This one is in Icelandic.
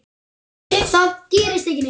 Það gerist ekki neitt.